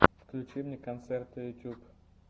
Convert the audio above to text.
включи мне концерты ютуб